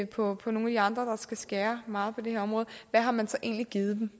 på nogen af de andre skal skære meget ned på det her område hvad har man så egentlig givet dem